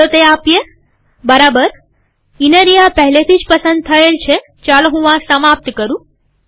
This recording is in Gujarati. ચાલો તે આપીએબરાબરઇનરિયા પહેલેથી જ પસંદ થયેલ છેચાલો હું આ સમાપ્ત કરું